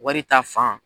Wari ta fan